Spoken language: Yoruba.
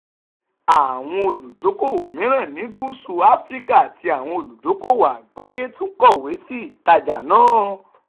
àwọn olùdókòwò mìíràn ní gusu afrika àti àwọn olùdókòwò àgbáyé tún kọ̀wé sí ìtajà náà.